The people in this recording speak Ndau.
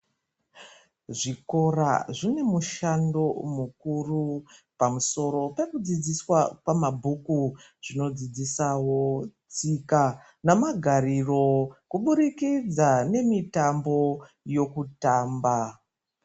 Zvikora zvinemishando mukuru pamusoro pekudzidziswa mabhuku zvinodzidziswo tsika namagariro kuburikidza nemitambo yokutamba.